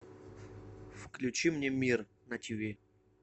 включи мне мир на тв